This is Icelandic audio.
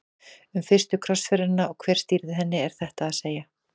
Um fyrstu krossferðina og hver stýrði henni er þetta að segja.